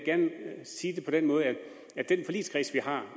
gerne sige det på den måde at den forligskreds vi har